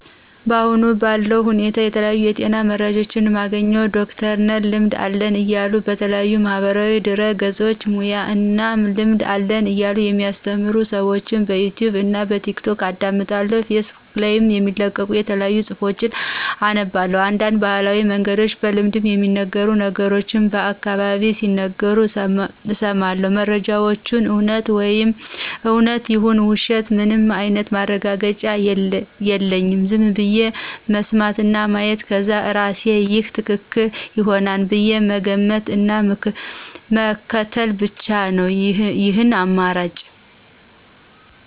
አሁን ባለው ሁኔታ የተለያዩ የጤና መረጃዎችን የማገኘው ዶክተር ነን ልምድ አለን እያሉ በተለያዩ ማህበራዊ ድህረገጾች ሙያና እና ልምድ አለን እያሉ የሚአሰተምሩ ሰዎችን በዩቱብ እና በቲክቶክ አዳምጣለሁ ፌስቡክ ላይም የሚለቀቁ የተለያዩ ጽሁፎችን አነባለሁ፤ አንዳንድ በባህላዊ መንገድ በልምድ የሚነገሩ ነገሮችንም በአካባቢየ ሲነገሩ እሰማለሁ። መረጃወቹ እውነት ይሁኑ ውሸት ምንም አይነት ማረጋገጫ የለኝም ዝም ብዬ መስማት እና ማየት ከዛ እርሴ ይሄ ትክክል ይሆናል ብዬ መገመት እና ምክትል ብቻ ነው ይህን አማራጭ።